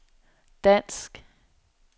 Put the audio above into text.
dansk